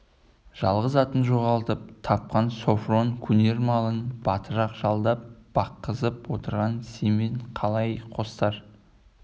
жалғыз атын жоғалтып тапқан софрон көнер малын батырақ жалдап баққызып отырған семен қалай қостар